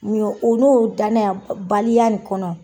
Mun ye odon danaya baliya nin kɔnɔ